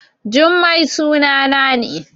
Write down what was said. Jummai sunana ne